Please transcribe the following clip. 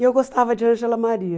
E eu gostava de Ângela Maria.